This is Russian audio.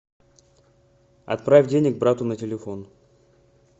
отправь денег брату на телефон